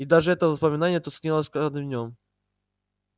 и даже это воспоминание тускнело с каждым днём